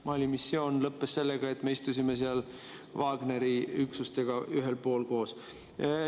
Mali missioon lõppes sellega, et me istusime seal Wagneri üksustega ühel pool koos.